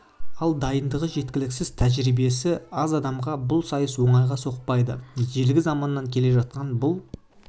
ал дайындығы жеткіліксіз тәжірибесі аз адамға бұл сайыс оңайға соқпайды ежелгі заманнан келе жатқан бұл